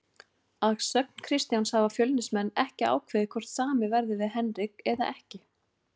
Að sögn Kristjáns hafa Fjölnismenn ekki ákveðið hvort samið verði við Henrik eða ekki.